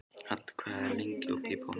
Hadda, hvað er lengi opið í Bónus?